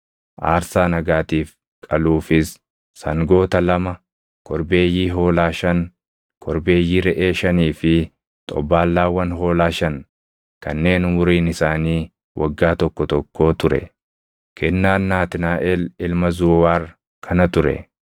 aarsaa nagaatiif qaluufis sangoota lama, korbeeyyii hoolaa shan, korbeeyyii reʼee shanii fi xobbaallaawwan hoolaa shan kanneen umuriin isaanii waggaa tokko tokkoo ture. Kennaan Naatnaaʼel ilma Zuuwaar kana ture.